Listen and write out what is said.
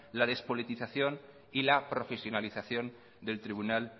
la despolitización y la profesionalización del tribunal